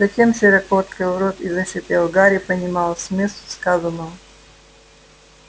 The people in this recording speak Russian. затем широко открыл рот и зашипел гарри понимал смысл сказанного